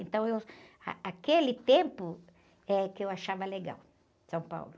Então, eu, ah, aquele tempo é que eu achava legal, São Paulo.